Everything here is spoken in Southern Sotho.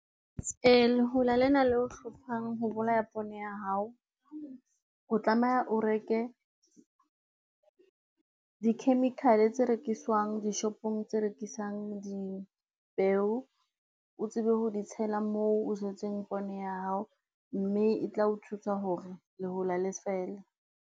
Lehola lena leo hlophang ho bolaya pone ya hao, o tlameha o reke di-chemical tse rekiswang dishopong tse rekisang dipeo, o tsebe ho di tshela moo o jetseng pone ya hao, mme e tla o thusa hore lehola le fele.